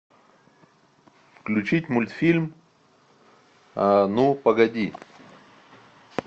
включить мультфильм ну погоди